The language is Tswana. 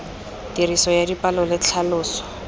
tiriso ya dipalo le tlhaloso